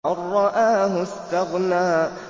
أَن رَّآهُ اسْتَغْنَىٰ